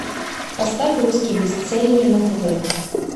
поставь русский бестселлер на тв